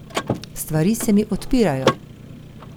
Stvari se mi odpirajo!